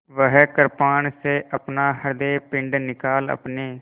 वह कृपाण से अपना हृदयपिंड निकाल अपने